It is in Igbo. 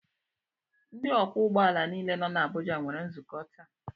Ndị ọkwọ ụgbọala nile nọ na Abuja nwere nzukọ taa